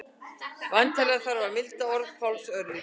Væntanlega þarf að milda orð Páls örlítið.